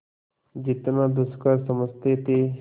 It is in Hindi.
जितना दुष्कर समझते थे